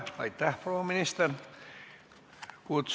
Aitäh, proua minister!